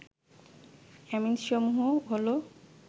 অ্যামিনসমূহ হল